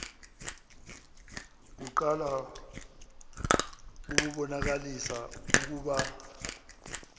kuqala bubonakalisa ukuba